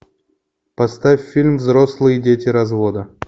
поставь фильм взрослые дети развода